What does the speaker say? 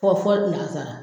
Fɔ fɔli lansara.